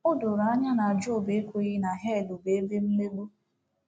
O doro anya na Job ekweghị na hel bụ ebe mmegbu.